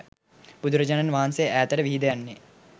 බුදුරජාණන් වහන්සේ ඈතට විහිද යන්නේ